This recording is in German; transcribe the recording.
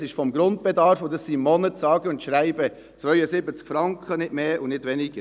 Es sind 8 Prozent des Grundbedarfs, und das sind im Monat sage und schreibe 72 Franken, nicht mehr und nicht weniger.